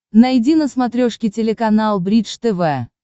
найди на смотрешке телеканал бридж тв